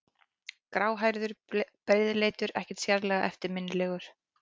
Gráhærður, breiðleitur, ekkert sérlega eftirminnilegur.